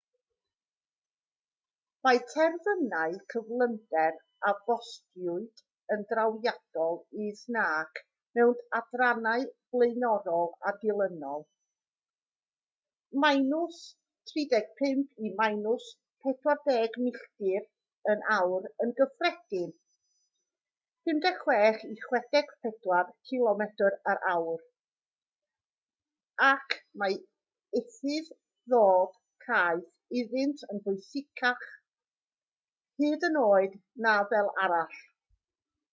mae terfynau cyflymder a bostiwyd yn drawiadol is nac mewn adrannau blaenorol a dilynol - 35-40 milltir yr awr yn gyffredin 56-64 cilomedr yr awr - ac mae ufudd-dod caeth iddynt yn bwysicach hyd yn oed na fel arall